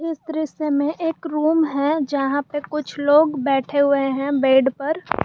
इस दृश्य में एक रूम है जहां पे कुछ लोग बैठे हुए हैं बेड पर।